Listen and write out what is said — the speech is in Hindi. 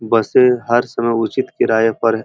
बसें हर सामान उचित किराए पर--